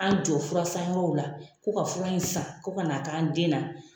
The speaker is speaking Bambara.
An jɔ furasan yɔrɔw la k'o ka fura in san ko kana k'an den na.